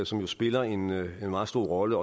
som jo spiller en meget stor rolle